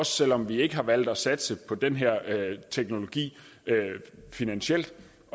selv om vi har ikke har valgt at satse på den her teknologi finansielt